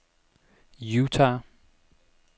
Utah